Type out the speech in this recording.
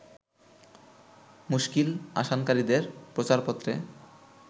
মুশকিল আসানকারীদের প্রচারপত্রে